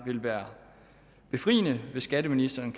vil være befriende hvis skatteministeren